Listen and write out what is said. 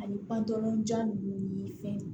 Ani panpolonjan ninnu ni fɛn